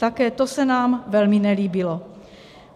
Také to se nám velmi nelíbilo.